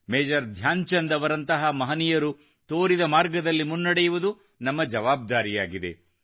major Dhyan Chand ಅವರಂತಹ ಮಹನೀಯರು ತೋರಿದ ಮಾರ್ಗದಲ್ಲಿ ಮುನ್ನಡೆಯುವುದು ನಮ್ಮ ಜವಾಬ್ದಾರಿಯಾಗಿದೆ